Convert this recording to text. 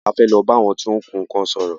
A fẹ́ lọ bá àwọn tí ó ń kun nnkan sòrò.